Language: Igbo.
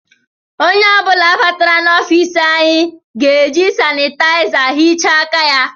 Onye ọ bụla batara na ọfiisi anyị ga-eji sanitayiza hichaa aka ya